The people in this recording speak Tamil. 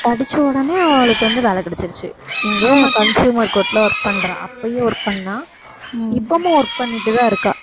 படிச்ச உடனே அவளுக்கு வந்து வேலை கிடைச்சிருச்சு இங்க consumer court ல work பண்றா அப்பயும் work பண்ணா இப்பவும் work பண்ணிட்டுதான் இருக்கா